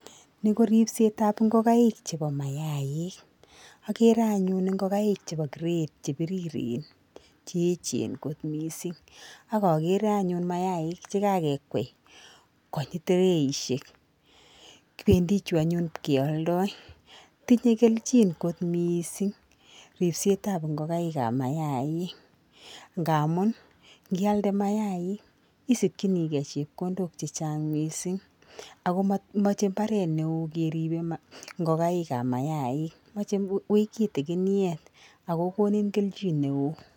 Ni ko ripsetap ngokaik chebo mayaik. Akere anyun ngokaik chebo grade che biriren che echen kot mising' ak akere anyun mayaik chekakekwei konyi tireishek. Pendi chu anyun pkealdoi. Tinye kelchin kot mising' ripsetap ngokaik ap mayaik ngamun ngialde mayaik isikchinigei chepkondok chechang mising' ako mamoche mbaret neo keribe ngokaikap mayaik, mochei wui kitiginiet ak kokonin kelchin neo.